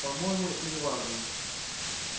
по-моему это неважно